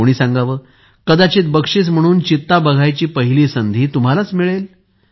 कोणी सांगावं कदाचित बक्षिस म्हणून चित्ता बघायची पहिली संधी तुम्हालाच मिळेल